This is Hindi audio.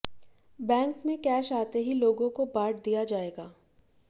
बैंक में कैश आते ही लोगों को बांट दिया जाएगा